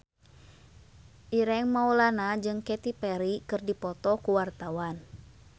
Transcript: Ireng Maulana jeung Katy Perry keur dipoto ku wartawan